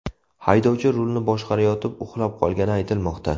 Haydovchi rulni boshqarayotib uxlab qolgani aytilmoqda.